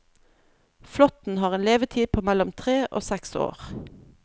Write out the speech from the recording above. Flåtten har en levetid på mellom tre og seks år.